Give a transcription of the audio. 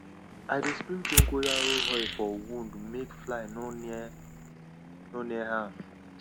i dey spray dongoyaro oil for wound make fly no near no near am